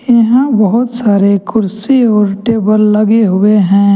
यहां बहोत सारे कुर्सी और टेबल लगे हुए हैं।